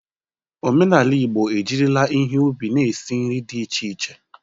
Omenala Igbo ejirila ihe ubi na-esi nri dị iche iche.